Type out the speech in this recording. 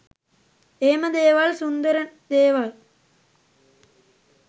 එහෙම දේවල් සුන්දර දේවල්